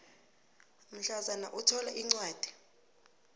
mhlazana uthola incwadi